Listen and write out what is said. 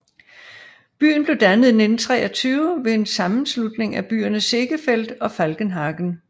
Byen blev dannet i 1923 ved en sammanslutning af byerne Seegefeld og Falkenhagen